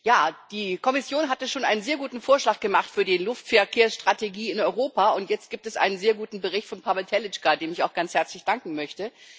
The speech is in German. Ja, die Kommission hatte schon einen sehr guten Vorschlag für die Luftverkehrsstrategie in Europa gemacht. Jetzt gibt es einen sehr guten Bericht von Pavel Telička, dem ich auch ganz herzlich danken möchte.